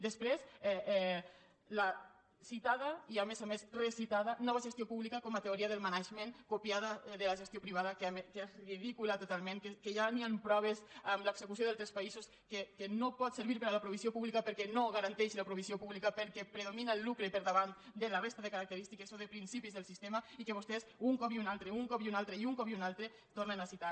després la citada i a més a més recitada nova gestió pública com a teoria del management copiada de la gestió privada que és ridícula totalment que ja hi han proves amb l’execució a d’altres països que no pot servir per a la provisió pública perquè no garanteix la provisió pública perquè predomina el lucre per davant de la resta de característiques o de principis del sistema i que vostès un cop i un altre un cop i un altre i un cop i un altre tornen a citar